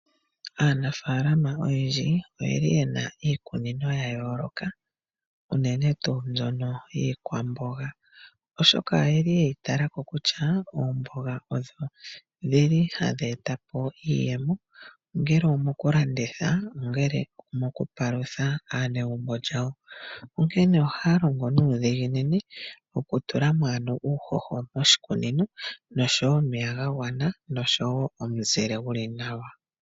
Aanafaalama oyendji oyeli yena iikunino yayooloka unene tuu mbyono yiikwamboga oshoka oyeli yeyi talako kutya oomboga odho dhili hadhi etapo iiyemo , ongele omokulanditha, ongele omokupalutha aanegumbo lyawo, onkene ohaya longo nuudhiginini okutalamo omeya nuuhoho wagwana oshowoo omuzile gwagwana.